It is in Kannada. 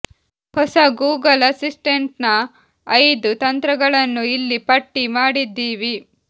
ಹೊಸ ಗೂಗಲ್ ಅಸಿಸ್ಟೆಂಟ್ ನ ಐದು ತಂತ್ರಗಳನ್ನು ಇಲ್ಲಿ ಪಟ್ಟಿ ಮಾಡಿದ್ದೀವಿ